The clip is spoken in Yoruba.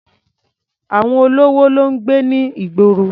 Àwọn olówó ló ń gbé ní ìgboro.